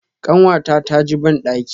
kanwata ta ji bandaki.